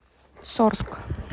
сорск